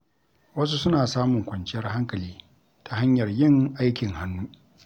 Wasu suna samun kwanciyar hankali ta hanyar yin aikin hannu.